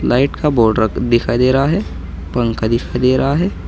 Light का board दिखाई दे रहा है पंखा दिखाई दे रहा है।